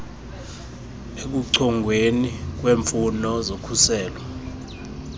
ekuchongweni kweemfuno zokhuselo